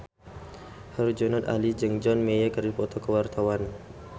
Herjunot Ali jeung John Mayer keur dipoto ku wartawan